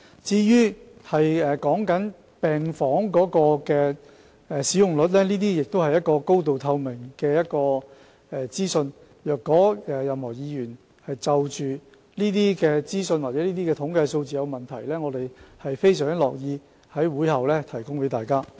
至於病房使用率方面，這些是高度透明的資訊，如果任何議員就着有關資訊或統計數字有疑問，我們相當樂意在會後向大家提供資料。